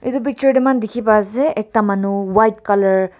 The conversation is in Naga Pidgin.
etu picture tae moi kan dikhi paiase ekta manu white colour .